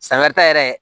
San wɛrɛ ta yɛrɛ